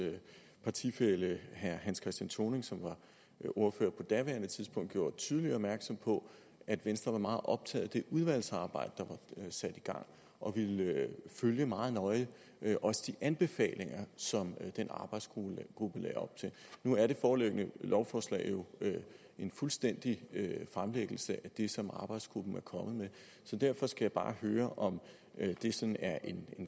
partifælle herre hans christian thoning som var ordfører på daværende tidspunkt gjorde tydeligt opmærksom på at venstre var meget optaget af det udvalgsarbejde der var sat i gang og ville følge meget nøje også de anbefalinger som den arbejdsgruppe lagde op til nu er det foreliggende lovforslag jo en fuldstændig fremlæggelse af det som arbejdsgruppen er kommet med så derfor skal jeg bare høre om det sådan er en